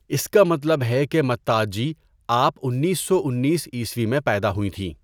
اسکا مطلب ہے کہ متّاجّی آپ انیس سو انیس عیسوی میں پیدا ہوئی تھیں!.